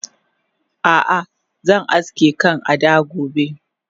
Ah ah zan aske kan Ada gobe